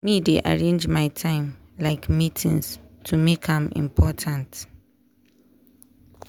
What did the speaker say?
me dey arrange my time like meetings to make am important.